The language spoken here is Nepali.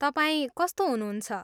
तपाईँ कस्तो हुनुहुन्छ?